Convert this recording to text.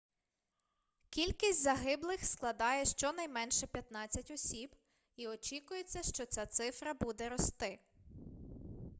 кількість загиблих складає щонайменше 15 осіб і очікується що ця цифра буде рости